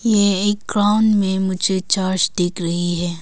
ये एक ग्राउंड में मुझे चर्च दिख रही है।